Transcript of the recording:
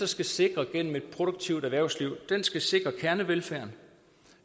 skal sikre gennem et produktivt erhvervsliv skal sikre kernevelfærden